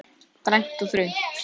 Grænt og þröngt.